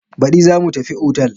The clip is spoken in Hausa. Baɗi za mu tafi otal.